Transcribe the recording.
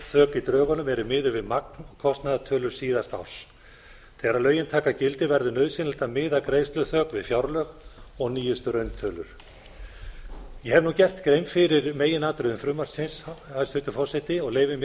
greiðsluþök í drögunum eru miðuð við magn kostnaðartölur síðasta árs þegar lögin taka gildi verður nauðsynlegt að miða greiðsluþök við fjárlög og nýjustu rauntölur ég hef gert grein fyrir meginatriðum frumvarpsins hæstvirtur forseti og leyfi mér